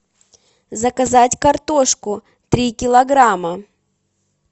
заказать картошку три килограмма